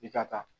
I ka taa